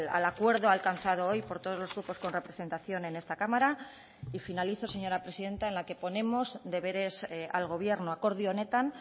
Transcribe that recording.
al acuerdo alcanzado hoy por todos los grupos con representación en esta cámara y finalizo señora presidenta en la que ponemos deberes al gobierno akordio honetan